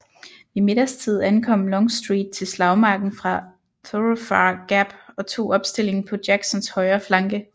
Ved middagstid ankom Longstreet til slagmarken fra Thoroughfare Gap og tog opstilling på Jacksons højre flanke